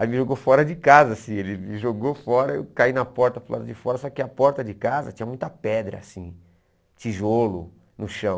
Aí me jogou fora de casa, assim, ele me jogou fora, eu caí na porta para o lado de fora, só que a porta de casa tinha muita pedra, assim, tijolo no chão.